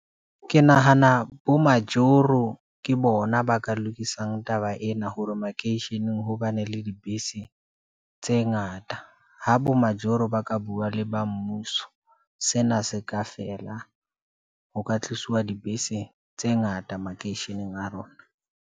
Ke nahana bo majoro ke bona ba ka lokisang taba ena, hore makeisheneng ho bane le dibese tse ngata, ha bo majoro ba ka bua le ba mmuso. Sena se ka feela, ho ka tlisuwa dibese tse ngata makeisheneng a rona.